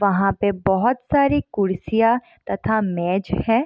वहां पे बहुत सारी कुर्सियां तथा मेज है।